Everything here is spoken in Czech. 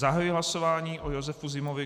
Zahajuji hlasování o Josefu Zimovi.